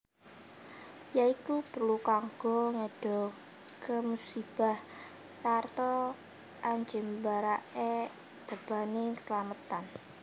Ya iku perlu kanggo ngedohake musibah sarta anjembarake tebaning keslametan